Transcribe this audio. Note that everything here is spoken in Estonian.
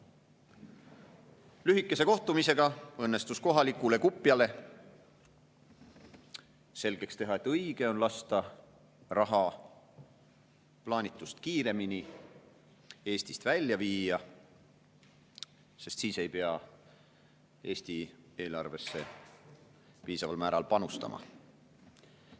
Neil õnnestus lühikesel kohtumisel kohalikule kupjale selgeks teha, et õige on lasta raha plaanitust kiiremini Eestist välja viia, siis ei pea Eesti eelarvesse piisaval määral panustama.